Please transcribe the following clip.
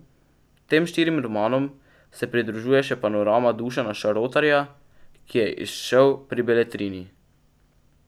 Tem štirim romanom se pridružuje še Panorama Dušana Šarotarja, ki je izšel pri Beletrini.